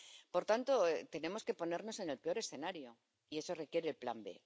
Por tanto, tenemos que ponernos en el peor escenario. Y eso requiere el plan B.